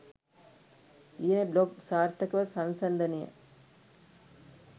ලියන බ්ලොග් සාර්ථකව සංසන්දනය